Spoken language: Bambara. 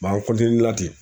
an ten